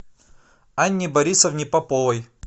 анне борисовне поповой